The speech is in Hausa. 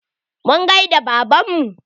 Mun gaida baban mu